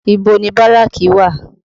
Ibo ni Báràkì wà?